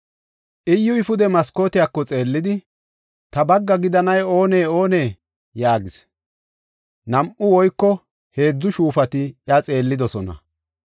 Iyyuy pude maskootiyako xeellidi, “Ta bagga gidanay oonee? Oonee?” yaagis. Nam7u woyko heedzu shuufati iya xeellidosona.